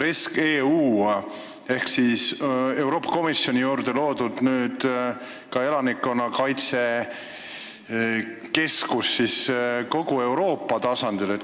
REScEU on Euroopa Komisjoni juurde loodud elanikkonnakaitse keskus, mis hõlmab kogu Euroopa tasandit.